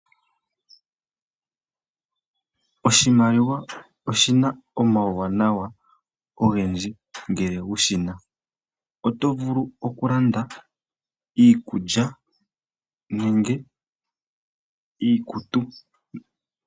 Oshimaliwa oshina omauwanawa ogendji ngele wushina. Oto vulu oku landa iikulya nenge iikutu .